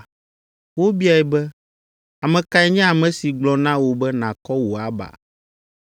Wobiae be, “Ame kae nye ame si gblɔ na wò be nàkɔ wò aba?”